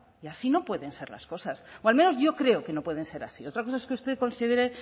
y así no pueden ser las cosas o al menos yo creo que no pueden ser así otra cosa es que usted considere